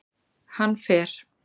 Hann fer